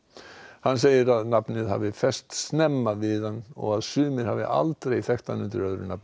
hann segir að nafnið hafi fest snemma við hann og að sumir hafi aldrei þekkt hann undir öðru nafni